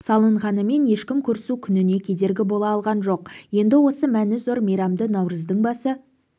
салынғанымен ешкім көрісу күніне кедергі бола алған жоқ енді осы мәні зор мейрамды наурыздың басы